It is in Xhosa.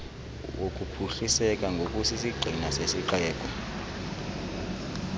wokuphuhliseka ngokusisigxina kwesixeko